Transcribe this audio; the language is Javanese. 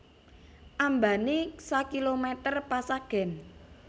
Ambané sakilomèter pesagèn